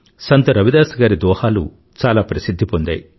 సంత్ రవిదాస్ గారి దోహాలు చాలా ప్రసిధ్ధి పొందాయి